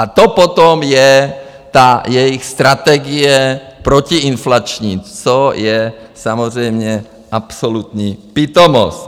A to potom je ta jejich strategie protiinflační, což je samozřejmě absolutní pitomost.